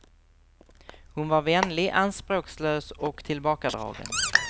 Hon var vänlig, anspråkslös och tillbakadragen.